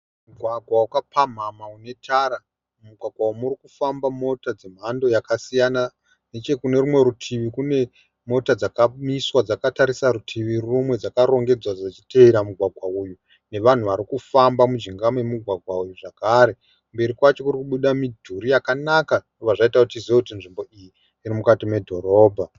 Mugwagwa wakapamhamha une tara. Mumugwagwa umu muri kufamba mota dzemhando yakasiyana. Nechekune rumwe rutivi kune mota dzakamiswa dzakatarisa rutivi rumwe dzakarongedzwa dzichitevera mugwagwa uyu nevanhu vari kufamba mujinga memugwagwa uyu zvakare. Kumberi kwacho kuri kubuda midhuri yakanaka zvinobva zvaita kuti tizive kuti nzvimbo iyi iri mukati medhorobha.